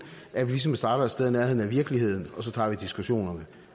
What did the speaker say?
at vi ligesom starter et sted i nærheden af virkeligheden og så tager vi diskussionerne